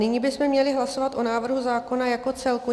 Nyní bychom měli hlasovat o návrhu zákona jako celku.